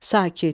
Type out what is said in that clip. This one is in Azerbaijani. Sakit.